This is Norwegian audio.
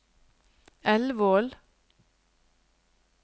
Elvål